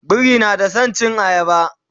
biri na da San cin ayaba